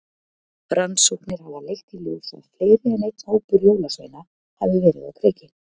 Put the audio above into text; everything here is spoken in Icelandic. Rannsóknir hafa leitt í ljós að fleiri en einn hópur jólasveina hafa verið á kreiki.